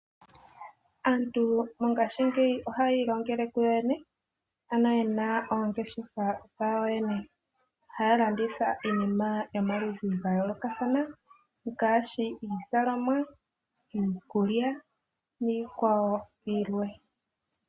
Aantu mongaashingeyi ohayi i longele kuyo yene ano yena ongeshefa dhawo yo yene. Ohaya landitha iinima yomaludhi ga yoolokathana ngaashi iizalomwa, iikulya niikwawo yilwe.